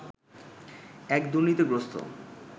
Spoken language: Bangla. এক দুর্নীতিগ্রস্ত